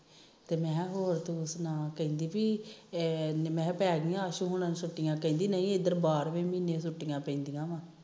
ਤੇ ਮੈ ਕਿਹਾ ਹੋਰ ਤੂੰ ਸਣਾ ਕਹਿੰਦੀ ਪੀ ਮੈ ਪੈ ਗੀਆਂ ਆਸ਼ੂ ਹੁਨਾ ਨੂੰ ਛੁਟੀਆਂ ਕਹਿਨੀ ਪੀ ਇਧਰ ਬਾਰਵੇ ਮਹੀਨੇ ਛੁਟੀਆਂ ਪੈਂਦੀਆਂ ਆ